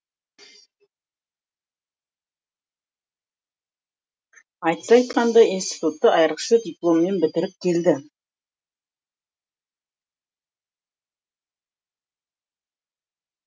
айтса айтқандай институтты айрықша дипломмен бітіріп келді